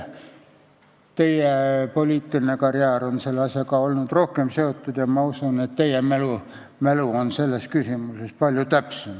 Teie poliitiline karjäär on selle asjaga olnud rohkem seotud ja ma usun, et teie mälu on selles küsimuses palju täpsem.